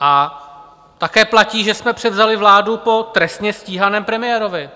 A také platí, že jsme převzali vládu po trestně stíhaném premiérovi.